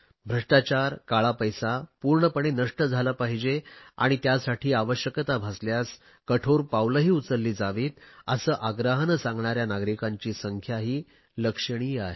भ्रष्टाचार काळा पैसा पूर्णपणे नष्ट झाला पाहिजे आणि त्यासाठी आवश्यकता भासल्यास कठोर पावलेही उचलली जावीत असे आग्रहाने सांगणाऱ्या नागरिकांची संख्याही लक्षणीय आहे